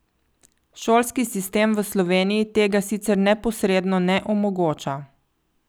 Šolski sistem v Sloveniji tega sicer neposredno ne omogoča.